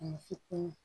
Ni fitinin